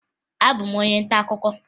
Abụbu m onye ntaakụkọ